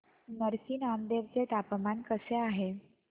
नरसी नामदेव चे तापमान कसे आहे